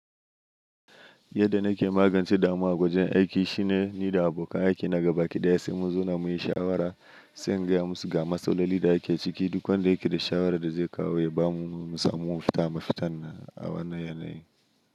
Yadda na ke magance damuwa a wajen aiki shine ni da abokan aiki na gaba ɗaya sai mu zauna muyi shawara, sai in gaya musu ga masaloli da ake ciki duk wanda yake da shawara da zai kawo ya ba mu, mu samu mu fita mafita a wannan yanayi.